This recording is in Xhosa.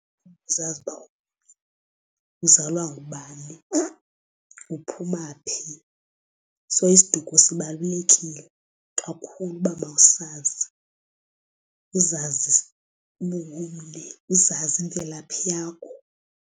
Kuzazi uba uzalwa ngubani uphuma phi. So isiduko sibalulekile kakhulu uba mawusazi, uzazi uba ungumni. Uzazi imvelaphi yakho.